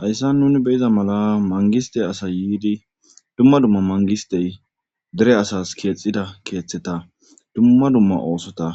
hayssan nuni beyiza mala mangiste asa yiidi dumma dumma mangistey dere asas keexida keeththeta dumma dumma oosota